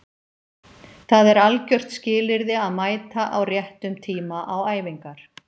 Það er algjört skilyrði að mæta á réttum tíma á æfingar